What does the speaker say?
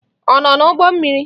Ọ nọ n'ụgbọ mmiri?